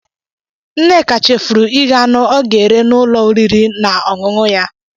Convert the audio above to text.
Nneka chefuru ighe anụ ọ ga-ere n'ụlọ oriri na ọṅụṅụ ya.